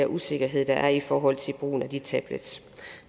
usikkerheder der er i forhold til brugen af de tablets